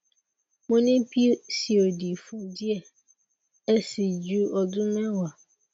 mo ni pcod fun diẹ ẹ sii ju odun mewa